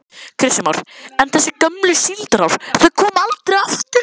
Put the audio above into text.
Kristján Már: En þessi gömlu síldarár, þau koma aldrei aftur?